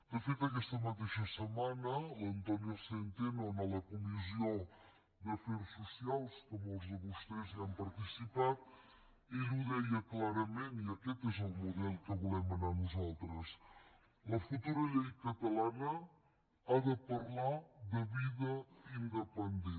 de fet aquesta mateixa setmana l’antonio centeno a la comissió d’afers socials que molts de vostès hi han participat ell ho deia clarament i aquest és el model a què volem anar nosaltres la futura llei catalana ha de parlar de vida independent